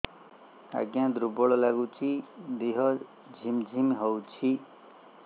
ଆଜ୍ଞା ଦୁର୍ବଳ ଲାଗୁଚି ଦେହ ଝିମଝିମ ହଉଛି